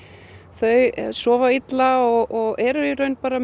þau sofa illa og eru í raun bara